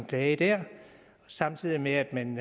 klage der samtidig med at man